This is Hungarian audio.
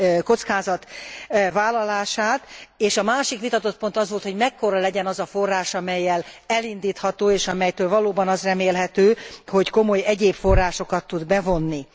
kockázatvállalását, és a másik vitatott pont az volt, hogy mekkora legyen az a forrás, amellyel elindítható és amelytől valóban az remélhető, hogy komoly egyéb forrásokat tud bevonni.